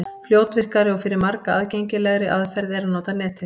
Fljótvirkari og fyrir marga aðgengilegri aðferð er að nota Netið.